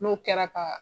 N'o kɛra ka